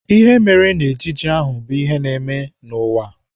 Ihe mere n'ejije ahụ bụ ihe na-eme n'ụwa.